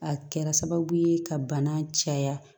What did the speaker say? A kɛra sababu ye ka bana caya